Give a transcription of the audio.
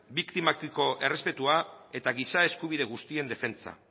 biktimekiko errespetua eta giza eskubide guztien defentsa